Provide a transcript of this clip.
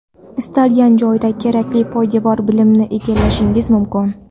istalgan joyda kerakli poydevor bilimni egallashingiz mumkin.